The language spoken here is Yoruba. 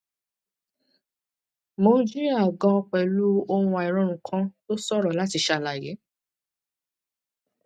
mo ń jìyà gan pẹlú ohun àìrórun kan tó ṣòro láti ṣàlàyé